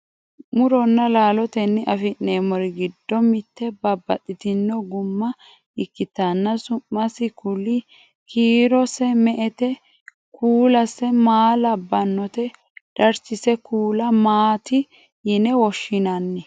muronna laalotenni afi'nanniri giddo mitte babbaxxitino gumma ikkitanna su'masi kuli? kiirose me"ete? kuulase maa labbannote? darchise kuula maati yine woshshinanni?